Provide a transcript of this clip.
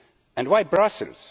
And why Brussels?